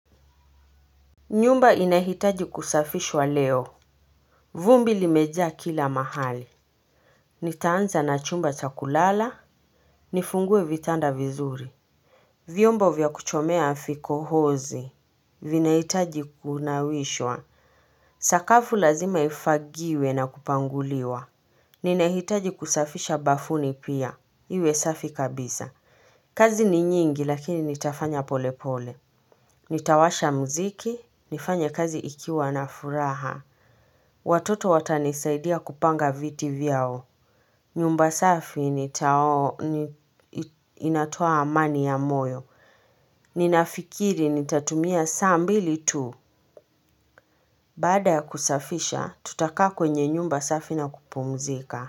Nyumba inahitaji kusafishwa leo. Vumbi limeja kila mahali. Nitaanza na chumba chakulala. Nifungue vitanda vizuri. Vyombo vya kuchomea fikohozi vinahitaji kunawishwa. Sakafu lazima ifagiwe na kupanguliwa nina hitaji kusafisha bafuni pia iwe safi kabisa kazi ni nyingi lakini nitafanya polepole. Nitawasha mziki, nifanya kazi ikiwa na furaha. Watoto watanisaidia kupanga viti vyao. Nyumba safi inatoa amani ya moyo. Ninafikiri nitatumia saa mbili tu. Baada ya kusafisha, tutaka kwenye nyumba safi na kupumzika.